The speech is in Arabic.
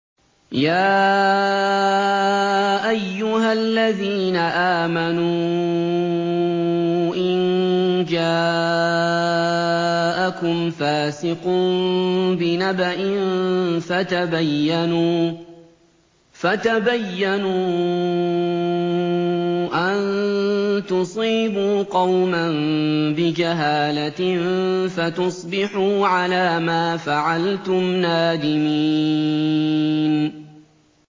يَا أَيُّهَا الَّذِينَ آمَنُوا إِن جَاءَكُمْ فَاسِقٌ بِنَبَإٍ فَتَبَيَّنُوا أَن تُصِيبُوا قَوْمًا بِجَهَالَةٍ فَتُصْبِحُوا عَلَىٰ مَا فَعَلْتُمْ نَادِمِينَ